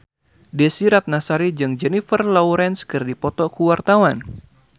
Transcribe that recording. Desy Ratnasari jeung Jennifer Lawrence keur dipoto ku wartawan